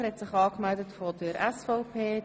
Rüegsegger spricht nun für die SVP.